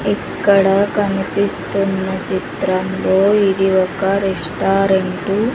ఇక్కడ కనిపిస్తున్న చిత్రంలో ఇది ఒక రెస్టారెంటు .